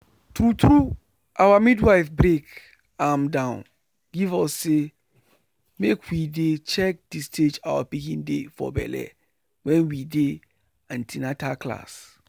true true our midwife break am down give us say make we dey check the stage our pikin dey for belle wen we dey an ten atal class.